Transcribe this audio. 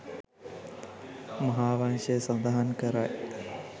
මහාවංශය සඳහන් කරයි.